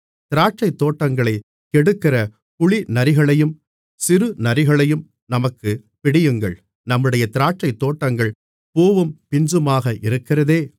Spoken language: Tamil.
திராட்சைத் தோட்டங்களைக் கெடுக்கிற குழிநரிகளையும் சிறுநரிகளையும் நமக்குப் பிடியுங்கள் நம்முடைய திராட்சைத்தோட்டங்கள் பூவும் பிஞ்சுமாக இருக்கிறதே மணவாளி